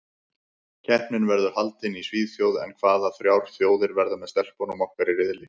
Keppnin verður haldin í Svíþjóð en hvaða þrjár þjóðir verða með stelpunum okkar í riðli?